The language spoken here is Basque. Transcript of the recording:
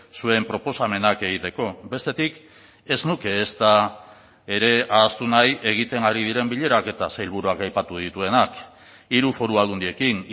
zuen proposamenak egiteko bestetik ez nuke ezta ere ahaztu nahi egiten ari diren bilerak eta sailburuak aipatu dituenak hiru foru aldundiekin